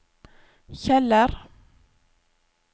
Kjeller